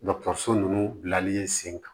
Dɔgɔtɔrɔso ninnu bilali sen kan